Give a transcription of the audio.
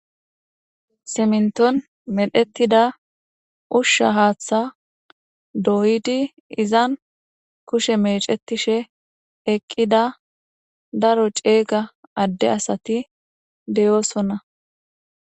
Simnton medhetida ushsha haaththa doydi izan kushe mecetishe eqqida daro ceega adde asati de7oosonna.